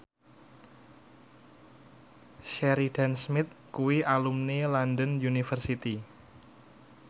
Sheridan Smith kuwi alumni London University